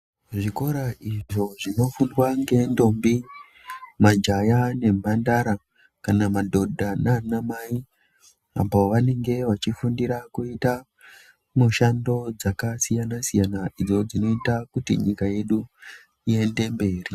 Zvikora izvo zvinofundwa nendombi majaha nemhandara kana mbandara nana mai apo pavanenge vachida kufundira kuita Mishando yakasiyana siyana idzo dzinoita kuti nyika yedu iende mberi.